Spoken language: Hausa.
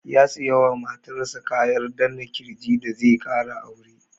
Ya saya wa matar sa kayan danna ƙirji da zai ƙara aure.